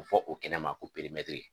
fɔ o kɛnɛ ma ko perimɛtiri